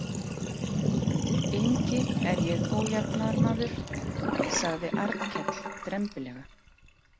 Engi er ég ójafnaðarmaður, sagði Arnkell drembilega.